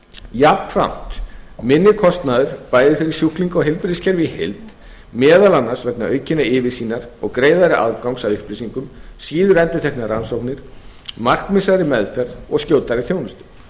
jafnframt minni kostnaður bæði fyrir sjúklinga og heilbrigðiskerfið í heild meðal annars vegna aukinnar yfirsýnar og greiðari aðgangs að upplýsingum síendurteknar rannsóknir markvissari meðferð og skjótari þjónustu